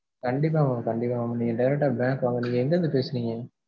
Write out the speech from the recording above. கண்டிப்பா mam கண்டிப்பா mam நீங்க direct டா bank வாங்க நீங்க எங்க இருந்து பேசுறிங்க?